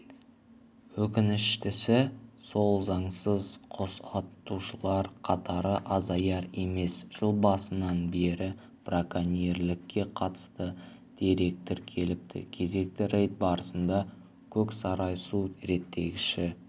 өкіншітісі сол заңсыз құс атушылар қатары азаяр емес жыл басынан бері броконьерлікке қатысты дерек тіркеліпті кезекті рейд барысында көксарай су реттегіші